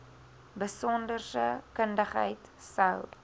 besonderse kundigheid sou